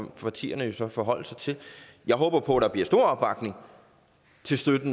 partierne jo så forholde sig til jeg håber på der bliver stor opbakning